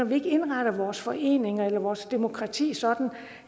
vi ikke indretter vores foreninger eller vores demokrati sådan